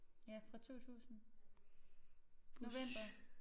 Ja fra 2000 november